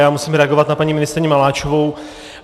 Já musím reagovat na paní ministryni Maláčovou.